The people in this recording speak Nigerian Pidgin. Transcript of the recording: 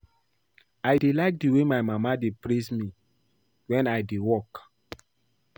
I dey like the way my mama dey praise me wen I dey work